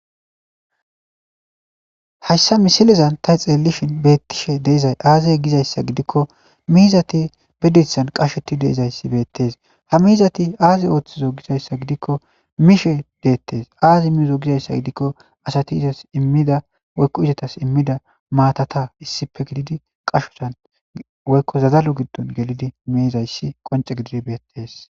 Hayssa misilizan ta xeellishin beettishe deizay aaziye gizayssa gidikko miizati bedethan qashoti deizayssi beettees ha miizati aaze ooththizo gizayssa gidikko miishe deettees aazi miizo gizayssa gidikko asati izas immida woykko izotas immida maatata issipe gididi qashotan woykko zazalo giddon gelidi miizayssi qonce gidir beettes.